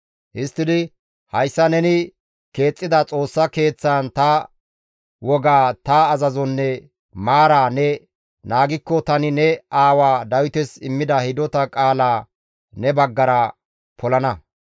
histtidi, «Hayssa neni keexxida Xoossa Keeththaan ta wogaa, ta azazonne maaraa ne naagikko tani ne aawa Dawites immida hidota qaalaa ne baggara polana.